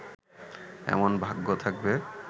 এমন ভাগ্য থাকবে